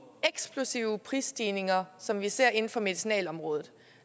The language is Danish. eksplosive prisstigninger som vi ser inden for medicinalområdet